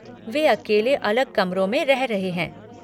वे अकेले अलग कमरों में रह रहे हैं।